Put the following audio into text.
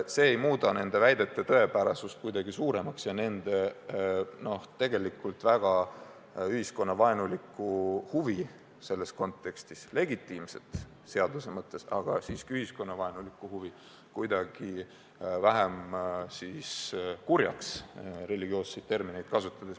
See ei muuda nende väidete tõepärasust kuidagi suuremaks ja nende tegelikult väga ühiskonnavaenulikku huvi selles kontekstis – legitiimset seaduse mõttes, aga siiski ühiskonnavaenulikku huvi – kuidagi vähem kurjaks, kui religioosseid termineid kasutada.